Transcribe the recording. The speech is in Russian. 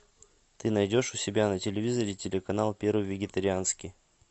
ты найдешь у себя на телевизоре телеканал первый вегетарианский